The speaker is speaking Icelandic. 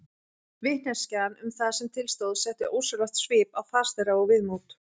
Vitneskjan um það sem til stóð setti ósjálfrátt svip á fas þeirra og viðmót.